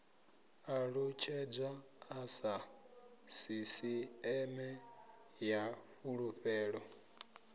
ṱalutshedzwa sa sisiṱeme ya fulufhelo